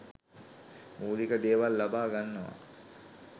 මූලික දේවල් ලබා ගන්නවා.